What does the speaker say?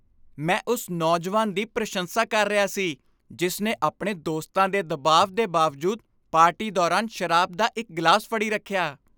ਮੈਂ ਉਸ ਨੌਜਵਾਨ ਦੀ ਪ੍ਰਸ਼ੰਸਾ ਕਰ ਰਿਹਾ ਸੀ ਜਿਸ ਨੇ ਆਪਣੇ ਦੋਸਤਾਂ ਦੇ ਦਬਾਅ ਦੇ ਬਾਵਜੂਦ ਪਾਰਟੀ ਦੌਰਾਨ ਸ਼ਰਾਬ ਦਾ ਇੱਕ ਗਲਾਸ ਫੜੀ ਰੱਖਿਆ।